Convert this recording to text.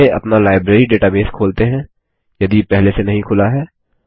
पहले अपना library database खोलते हैं यदि पहले से नहीं खुला है